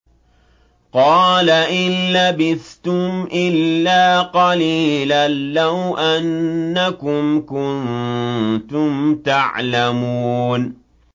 قَالَ إِن لَّبِثْتُمْ إِلَّا قَلِيلًا ۖ لَّوْ أَنَّكُمْ كُنتُمْ تَعْلَمُونَ